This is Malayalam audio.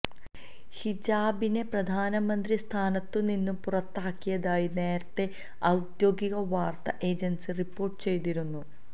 ഹിജാബിനെ പ്രധാനമന്ത്രി സ്ഥാനത്തുനിന്ന് പുറത്താക്കിയതായി നേരത്തേ ഔദ്യോഗിക വാര്ത്താ ഏജന്സി റിപ്പോര്ട്ട് ചെയ്തിരുന്നു